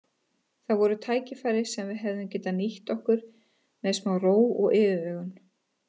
Það voru tækifæri sem við hefðum getað nýtt okkur með smá ró og yfirvegun.